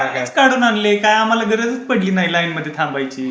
कडून आणली काय आम्हाला गरजच पडली नाही लाईन मध्ये लागायची